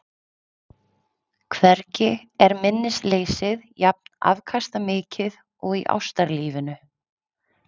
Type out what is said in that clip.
Hvergi er minnisleysið jafn afkastamikið og í ástarlífinu.